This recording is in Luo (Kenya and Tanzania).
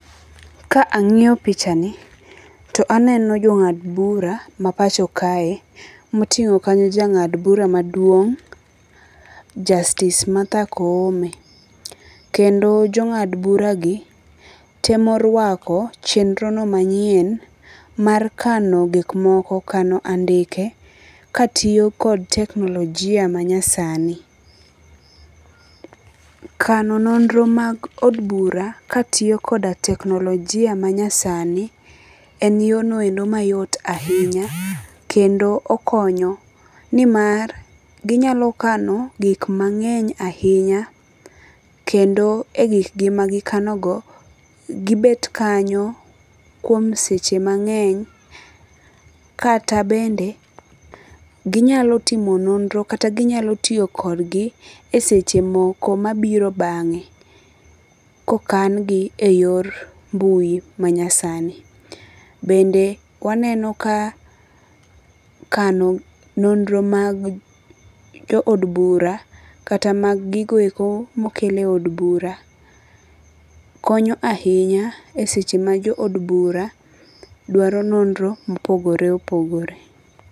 Ka ang'iyo picha ni to aneno jo ng'ad bura ma pacho kae. Moting'o kanyo jang'ad bura maduong' Justice Martha Koome. Kendo jong'ad bura gi, temo rwako chenro no manyien mar kano gik moko kano andike ka tiyo kod teknologia ma nyasani. Kano nonro mag od bura katiyo koda teknologia manyasani en yo no mayot ahinya kendo okonyo ni mar ginyalo kano gik mang'eny ahinya kendo e gik gi magikano go gibet kanyo kuom seche mang'eny. Kata bende ginyalo timo nonro kata ginyalo tiyo kodgi e seche moko mabiro bang'e kokan gi e yor mbui ma nyasani. Bende waneno ka kano nonro mag jo od bura kata mag gigo eko mokel e od bura konyo ahinya e seche ma jo od bura dwaro nonro mopogore opogore.